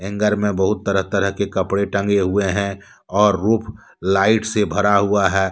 Hanger में बहुत तरह तरह के कपड़े टांगे हुए है और रूफ रूम लाइट से भरा हुआ है।